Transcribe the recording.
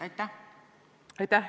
Aitäh!